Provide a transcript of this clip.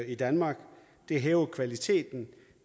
i danmark det hæver kvaliteten